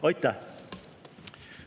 Aitäh!